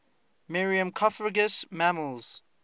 myrmecophagous mammals